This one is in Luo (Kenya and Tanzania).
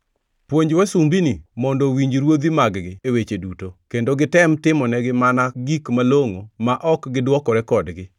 Puonj wasumbini mondo owinj ruodhi mag-gi e weche duto, kendo gitem timonegi mana gik malongʼo ma ok gidwokore kodgi,